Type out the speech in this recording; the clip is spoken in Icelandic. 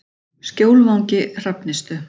Skjólvangi Hrafnistu